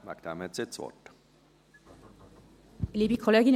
Deshalb hat sie das Wort.